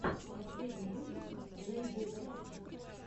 последний выпуск лэйди рафчик